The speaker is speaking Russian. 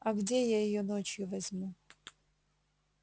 а где я её ночью возьму